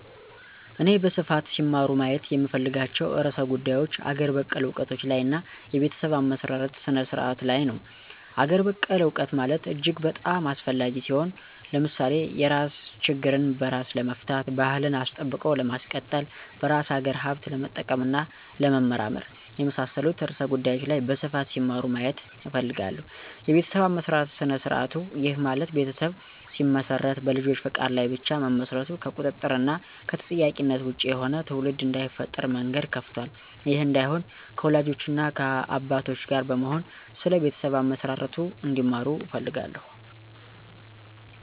እኔ በስፋት ሲማሩ ማየት የምፈልጋቸው ርዕሰ ጉዳዮች አገር በቀል እውቀቶች ላይ እና የቤተሰብ አመሰራረት ስነ-ስርዓቱ ላይ ነው። -አገር በቀል እውቀት ማለት እጅግ በጣም አስፈላጊ ሲሆን። ለምሳሌ የራስ ችግርን በራስ ለመፍታት፣ ባህልን አስጠብቆ ለማስቀጠል፣ በራስ አገር ሀብት ለመጠቀም እና ለመመራመር፣ የመሳሠሉት ርዕሰ ጉዳዮች ላይ በስፋት ሲማሩ ማየት እፈልጋለሁ። -የቤተሠብ አመሠራርት ስነ-ስርዐቱ፦ ይህ ማለት ቤተሠብ ሲመሰረት በልጆች ፈቃድ ላይ ብቻ መመስረቱ ከቁጥጥር እና ከተጠያቂነት ወጭ የሆነ ትውልድ እዳይፈጠር መንገድ ከፍቷል። ይህ እዳይሆን ከወላጆች እና ከአባቶች ጋር በመሆን ስለ ቤተሠብ አመሠራርቱ እንዲማሩ እፈልጋለሁ